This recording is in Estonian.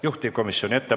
Jätkame homme kell 10.